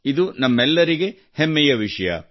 ಇದು ನಮ್ಮೆಲ್ಲರಿಗೆ ಹೆಮ್ಮೆಯ ವಿಷಯ